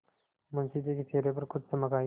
मुंशी जी के चेहरे पर कुछ चमक आई